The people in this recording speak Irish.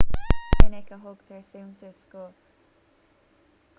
ní minic a thugtar suntas don